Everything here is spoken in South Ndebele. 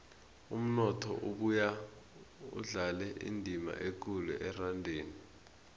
umnotho ubuya udlale indima ekulu erandeni